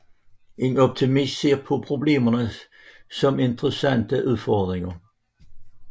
En optimist ser på problemer som interessante udfordringer